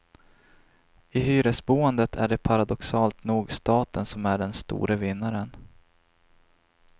I hyresboendet är det paradoxalt nog staten som är den store vinnaren.